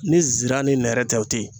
Ni nsira ni nɛrɛ tɛ o tɛ yen